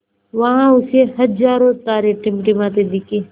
वहाँ उसे हज़ारों तारे टिमटिमाते दिखे